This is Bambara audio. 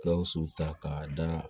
Gawusu ta k'a da